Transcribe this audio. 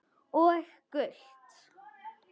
Og gult?